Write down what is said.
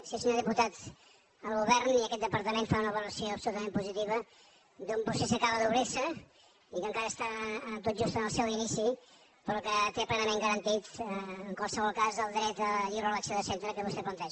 sí senyor diputat el govern i aquest departament fan una valoració absolutament positiva d’un procés que acaba d’obrir se i que encara està tot just en el seu inici però que té plenament garantit en qualsevol cas el dret a la lliure elecció de centre que vostè planteja